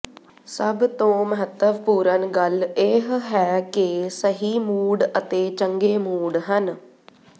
ਸਭ ਤੋਂ ਮਹੱਤਵਪੂਰਨ ਗੱਲ ਇਹ ਹੈ ਕਿ ਸਹੀ ਮੂਡ ਅਤੇ ਚੰਗੇ ਮੂਡ ਹਨ